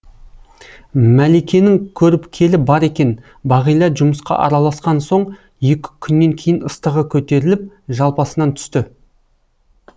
мәликенің көріпкелі бар екен бағила жұмысқа араласқан соң екі күннен кейін ыстығы көтеріліп жалпасынан түсті